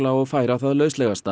og færa það